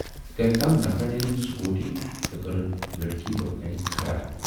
کٔمۍ تام نفرن ٲنۍ سکوٗٹی تہٕ کٔرٕن لڑکی برونہہ کنہِ کھڑا۔